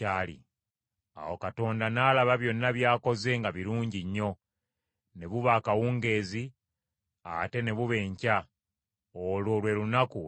Awo Katonda n’alaba byonna by’akoze nga birungi nnyo. Ne buba akawungeezi, ate ne buba enkya, olwo lwe lunaku olwomukaaga.